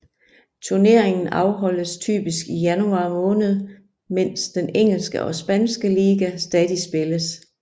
Turneringen afholdes typisk i januar måned mens den engelske og spanske liga stadig spilles